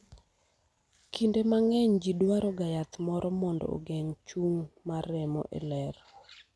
kinde mang'eny jii dwaro ga yath moro mondo ogeng ' chung' mar remo e ler